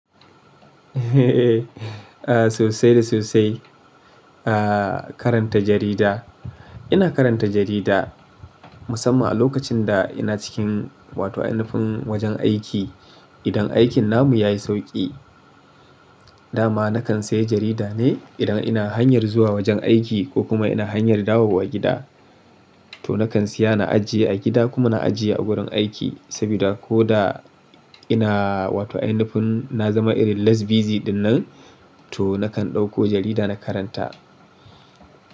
Sosai da sosai, ah karanta jarida. Ina karanta jarida musamman a lokacin da ina cikin wato ainufin wajen aiki. Idan aikin namu yayi sauƙi, dama nakan sayi jarida ne idan ina hanyar zuwa wajen aiki ko kuma ina hanyar dawowa gida. To nakan siya na ajiye a gida kuma na ajiye a wurin aiki saboda ko da ina wato ainufin na zama irin less busy ɗinnan, to nakan ɗauko jarida na karanta.